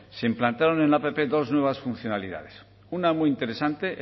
se implantaron en la app dos nuevas funcionalidades una muy interesante